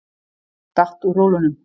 Datt úr rólunum.